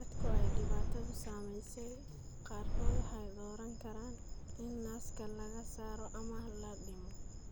Dadka ay dhibaatadu saameysey qaarkood waxay dooran karaan in naaska laga saaro ama la dhimo.